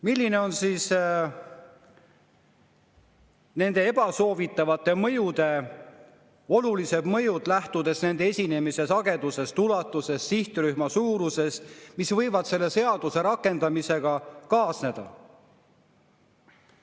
Millised on nende ebasoovitavate mõjude, lähtudes nende esinemise sagedusest, ulatusest, sihtrühma suurusest, mis võivad selle seaduse rakendamisega kaasneda?